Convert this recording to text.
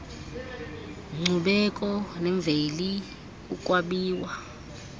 nkcubeko nemveli ukwabiwa